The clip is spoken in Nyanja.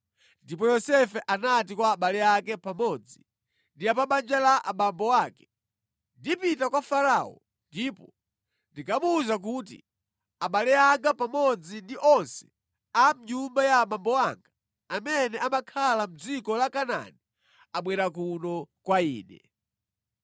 Ndipo Yosefe anati kwa abale ake pamodzi ndi a pa banja la abambo ake, “Ndipita kwa Farao ndipo ndikamuwuza kuti, ‘Abale anga pamodzi ndi onse a mʼnyumba ya abambo anga amene amakhala mʼdziko la Kanaani abwera kuno kwa ine.